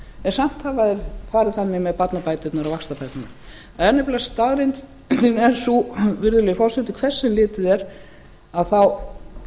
en samt hafa þeir farið þannig með barnabæturnar og vaxtabæturnar staðreyndin er sú virðulegi forseti hvert sem litið er að þá